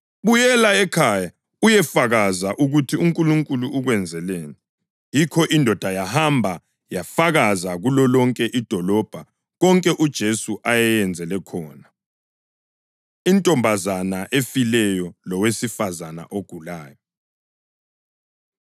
“Buyela ekhaya uyefakaza ukuthi uNkulunkulu ukwenzeleni.” Yikho indoda yahamba yafakaza kulolonke idolobho konke uJesu ayeyenzele khona. Intombazana Efileyo Lowesifazane Ogulayo